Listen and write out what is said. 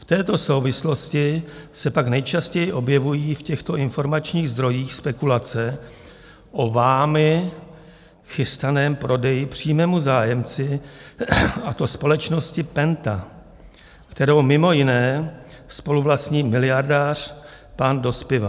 V této souvislosti se pak nejčastěji objevují v těchto informačních zdrojích spekulace o vámi chystaném prodeji přímému zájemci, a to společnosti Penta, kterou mimo jiné spoluvlastní miliardář pan Dospiva.